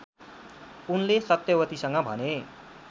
उनले सत्यवतीसँग भने